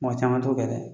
Mɔgɔ caman t'o kɛ dɛ